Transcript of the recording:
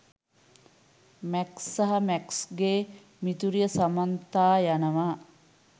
Max සහ මැක්ස්ගේ මිතුරිය සමන්තා යනවා.